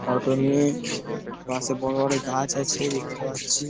Auto নিয়ে বাঁশে বড় বড় গাছ আছে দেখতে পাচ্ছি।